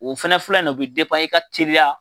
O fana filɛ nin ye o bɛ i ka teri